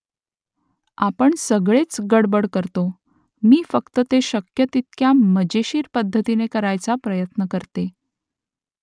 आपण सगळेच गडबड करतो . मी फक्त ते शक्य तितक्या मजेशीर पद्धतीने करायचा प्रयत्न करते